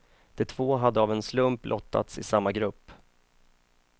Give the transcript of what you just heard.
De två hade av en slump lottats i samma grupp.